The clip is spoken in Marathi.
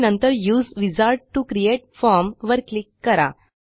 आणि नंतर उसे विझार्ड टीओ क्रिएट फॉर्म वर क्लिक करा